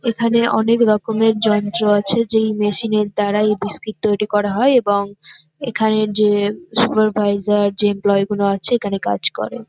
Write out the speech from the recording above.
এখানে অনেকরকমের যন্ত্র আছে যেই মেশিন -এর দ্বারা এই বিস্কিট তৈরি করা হয় এবং এখানে যে সুপারভাইসর যে এমপ্লই গুলো আছে এখানে কাজ করে।